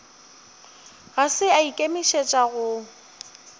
ga se a ikemišetša go